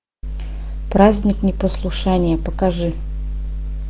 праздник непослушания покажи